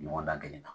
Ɲɔgɔndan kelen na